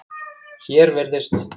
Hér virðist